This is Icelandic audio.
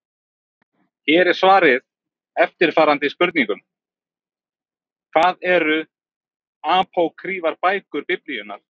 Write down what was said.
Hér er svarað eftirfarandi spurningum: Hvað eru apókrýfar bækur Biblíunnar?